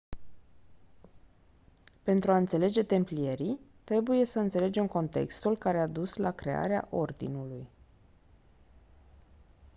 pentru a înțelege templierii trebuie să înțelegem contextul care a dus la crearea ordinului